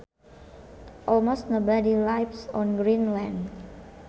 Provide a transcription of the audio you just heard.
Almost nobody lives on Greenland